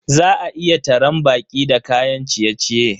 Za a iya taran baƙi da kayan ciye-ciye.